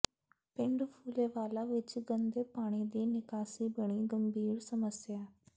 ਪਿੰਡ ਫੂਲੇਵਾਲਾ ਵਿੱਚ ਗੰਦੇ ਪਾਣੀ ਦੀ ਨਿਕਾਸੀ ਬਣੀ ਗੰਭੀਰ ਸਮੱਸਿਆ